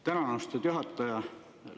Tänan, austatud juhataja!